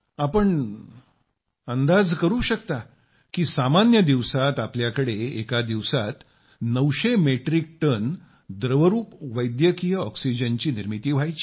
आपण अंदाज लावू शकता की सामान्य दिवसात आपल्याकडे एका दिवसात 900 मेट्रिक टन द्रवरुपी वैद्यकीय ऑक्सिजनची निर्मिती व्हायची